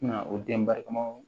Na o den barikamaw